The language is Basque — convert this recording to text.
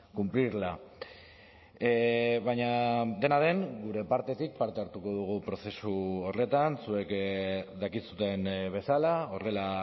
cumplirla baina dena den gure partetik parte hartuko dugu prozesu horretan zuek dakizuen bezala horrela